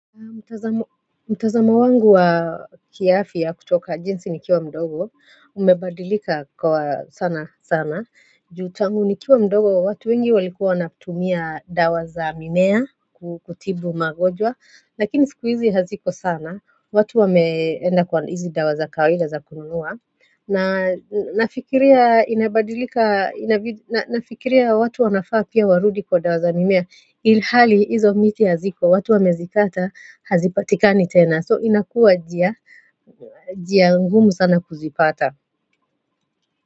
Mtazamo wangu wa kiafya kutoka jinsi nikiwa mdogo, umebadilika kwa sana sana. Juu tangu nikiwa mdogo wa watu wengi walikuwa wanatumia dawa za mimea kutibu magonjwa, lakini siku hizi haziko sana, watu wameenda kwa hizi dawa za kawaida za kununua. Na nafikiria inabadilika, na nafikiria watu wanafaa pia warudi kwa dawa za mimea Hali hizo miti haziko, watu wamezikata hazipatikani tena, so inakua njia, njia ngumu sana kuzipata.